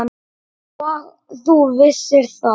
Og þú vissir það.